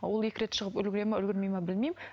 олекі рет шығып үлгереді ме үлгермей ме білмеймін